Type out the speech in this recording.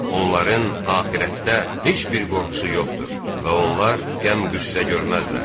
Onların axirətdə heç bir qorxusu yoxdur və onlar qəm-qüssə görməzlər.